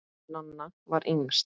Nanna var yngst.